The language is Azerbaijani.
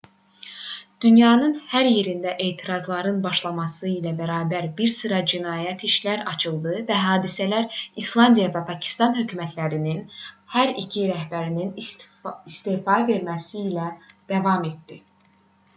dünyanın hər yerində etirazların başlaması ilə bərabər bir sıra cinayət işləri açıldı və hadisələr i̇slandiya və pakistan hökumətlərinin hər iki rəhbərinin istefa verməsi ilə davam etdi